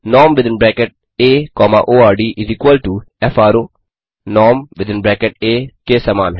norm within bracket a comma ord within is equal to fro norm within bracket a के समान है